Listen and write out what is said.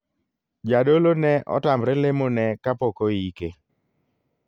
Jadolo ne otamre lemo ne kapok oike.